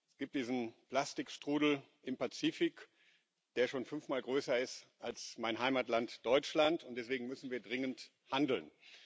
Es gibt diesen Plastikstrudel im Pazifik, der schon fünfmal größer ist als mein Heimatland Deutschland, und deswegen müssen wir dringend handeln.